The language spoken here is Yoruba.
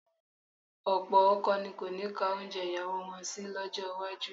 Ọ̀pọ̀ ọkọ ni kò ní ka oúnjẹ ìyàwó wọn sí lọ́jọ́ iwájú